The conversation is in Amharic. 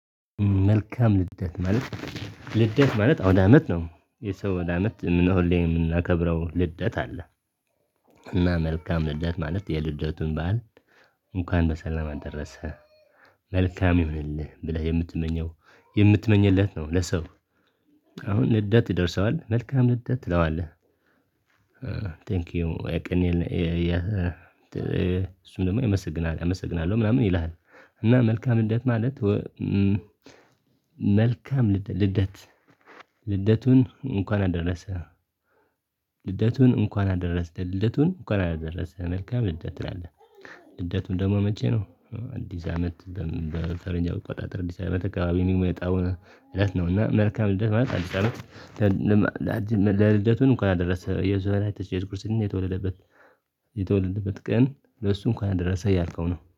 መልካም ልደት ማለት ልደት ማለት አውዳ አመት ነው የሰው አውዳ አመት ምን እንሆን ላይ የምናከብረው ልደት አለ። እና መልካም ልደት ማለት የልደቱን ባህል እንኳን በሰላም አደረሰ መልካም ይሁንልህ ብለህ የምትመኘው የምትመኘለት ነው ለሰው አሁን ልደት ይደርሰዋል መልካም ልደት ትለዋለህ። ቴንኪው የቀኔን የእሱም ደግሞ ያመሰግናል አመሰግናለሁ ምናምን ይልሃል እና መልካም ልደት ማለት መልካም ልደት ልደቱን እንኳን አደረሰህ። ልደቱን እንኳን አደረስን ልደቱን እንኳን አደረሰህ መልካም ልደት ትላለህ። ልደቱን ደግሞ መቼ ነው? አንዲስ አመት በፈረጅ አቆጣጠር አዲስ አመት አካባቢ ሚመጣው እለት ነውና መልካም እለት ማለት አዲስ አመት። ለልደቱን እንኳን አደረሰ የዘዋና የተጨረሰ ክርስቲያን የተወለደበት። የተወለደበት ቀን ለእሱ እንኳን ደረሰ እያልከው ነው